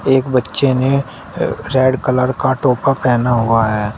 एक बच्चे ने अ रेड कलर का टोपा पहना हुआ है।